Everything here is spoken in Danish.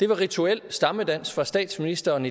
var rituel stammedans fra statsministeren